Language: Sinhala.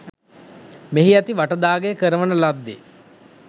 මෙහි ඇති වටදාගෙය කරවන ලද්දේ